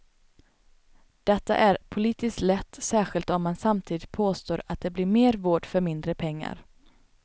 Detta är politiskt lätt, särskilt om man samtidigt påstår att det blir mer vård för mindre pengar.